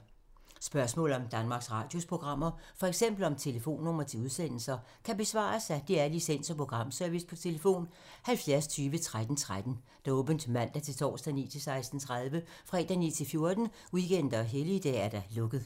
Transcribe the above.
Spørgsmål om Danmarks Radios programmer, f.eks. om telefonnumre til udsendelser, kan besvares af DR Licens- og Programservice: tlf. 70 20 13 13, åbent mandag-torsdag 9.00-16.30, fredag 9.00-14.00, weekender og helligdage: lukket.